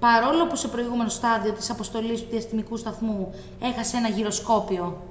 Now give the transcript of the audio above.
παρόλο που σε προηγούμενο στάδιο της αποστολής του διαστημικού σταθμού έχασε ένα γυροσκόπιο